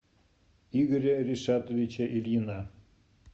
игоря ришатовича ильина